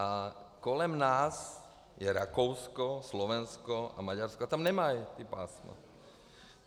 A kolem nás je Rakousko, Slovensko a Maďarsko a tam nemají ta pásma.